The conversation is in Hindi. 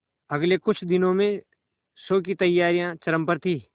अगले कुछ दिनों में शो की तैयारियां चरम पर थी